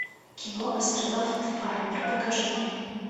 кино астронавт фармер покажи мне